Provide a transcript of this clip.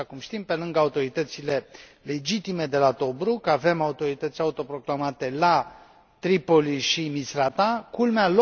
Așa cum știm, pe lângă autoritățile legitime de la Tobruk, avem autorități auto proclamate la Tripoli și Misrata culmea!,